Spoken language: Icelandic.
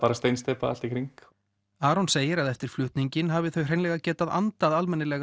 var steinsteypa allt í kring Aron segir að eftir flutninginn hafi þau getað andað